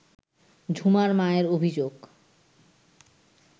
ঝুমার মায়ের অভিযোগ